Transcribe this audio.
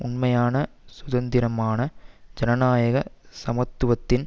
உண்மையான சுதந்திரமான ஜனநாயக சமூகத்தின்